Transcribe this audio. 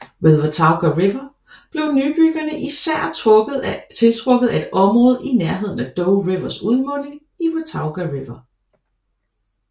Ved Watauga River blev nybyggerne især tiltrukket af et område i nærheden af Doe Rivers udmunding i Watauga River